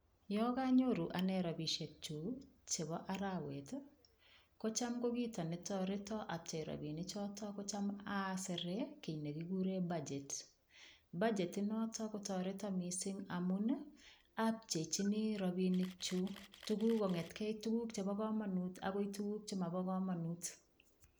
Yo kanyoru ane robishek chu chebo arawet kocham ko kito netoreto apchei robinichoto kocham asere kii nekikure budget bagetinoto kotoreto mising' amun apcheichini robinikchu tukuk kong'etkei tukuk chebo komonut akoi tukuk chemabo komonut